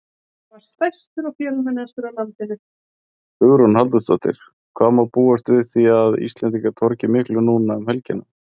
Hugrún Halldórsdóttir: Hvað má búast við því að Íslendingar torgi miklu núna um helgina?